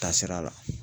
Taasira la